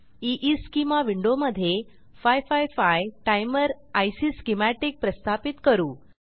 ईस्केमा विंडोमधे 555 timer IC schematic प्रस्थापित करू